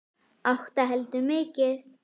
Átta heldur mikið.